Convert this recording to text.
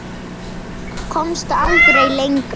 Komst aldrei lengra.